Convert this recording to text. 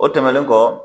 O tɛmɛnen kɔ